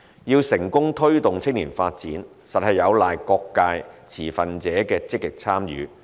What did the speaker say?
要成功推動青年發展，實有賴各界持份者的積極參與。